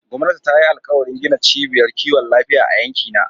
Gwamnati ta yi alkawarin gina ciɓiyar ƙiwon lafiya a yankina.